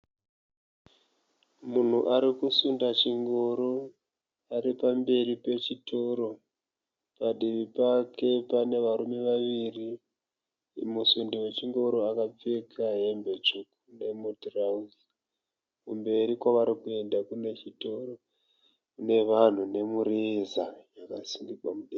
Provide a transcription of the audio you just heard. Munhu arikusunda chingoro ari pamberi pechitoro. Padivi pake pane varume vaviri. Musundi we chingoro akapfeka hembe tsvuku nemutirauzi. Kumberi kwavari kuenda kune chitoro, kune vanhu nemureza yakasungirwa mudenga.